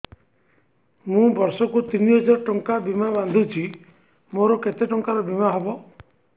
ମୁ ବର୍ଷ କୁ ତିନି ହଜାର ଟଙ୍କା ବୀମା ବାନ୍ଧୁଛି ମୋର କେତେ ଟଙ୍କାର ବୀମା ହବ